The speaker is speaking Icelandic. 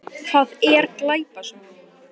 Hvað er glæpasaga?